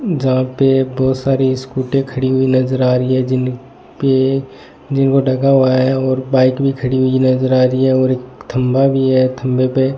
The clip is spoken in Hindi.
जहां पे बहोत सारी स्कूटी खड़ी हुई नजर आ रही है जिनपे जिनको ढका हुआ है और बाइक भी खड़ी हुई नजर आ रही है और एक खंभा भी है खंभे पे --